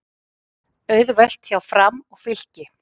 Auðvelt hjá Fram og Fylki